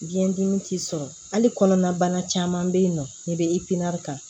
Biyɛn dimi t'i sɔrɔ hali kɔnɔnabana caman bɛ yen nɔ ne bɛ ta